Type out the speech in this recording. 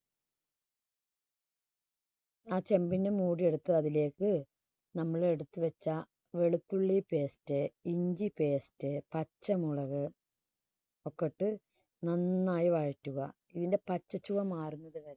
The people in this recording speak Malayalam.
ആ ചെമ്പിന്റെ മൂടി എടുത്ത് അതിലേക്ക് നമ്മൾ എടുത്ത് വെച്ച വെളുത്തുള്ളി paste ഇഞ്ചി paste പച്ചമുളക് ഒക്കെ ഇട്ട് നന്നായി വയറ്റുക. ഇതിൻറെ പച്ച ചുവ മാറുന്നതുവരെ